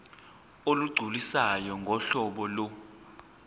olugculisayo ngohlobo lo